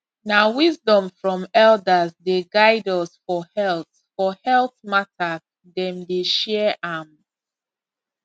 na wisdom from elders dey guide us for health for health matters dem dey share am